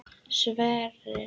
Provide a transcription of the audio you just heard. Sverrir